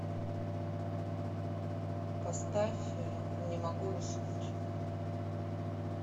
поставь не могу уснуть